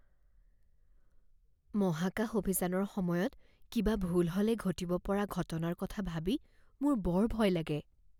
মহাকাশ অভিযানৰ সময়ত কিবা ভুল হ'লে ঘটিব পৰা ঘটনাৰ কথা ভাবি মোৰ বৰ ভয় লাগে।